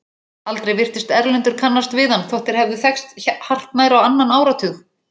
Aldrei virtist Erlendur kannast við hann þótt þeir hefðu þekkst hartnær á annan áratug.